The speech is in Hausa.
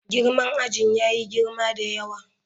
Girman ajin yayi girma da yawa.